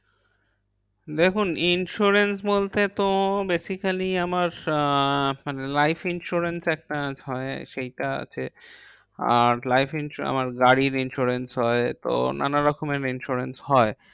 দেখুন insurance বলতে তো basically আমার আহ life insurance একটা হয় সেইটা আছে। আর life insured আমার গাড়ির insurance হয়। তো নানা রকমের insurance হয়।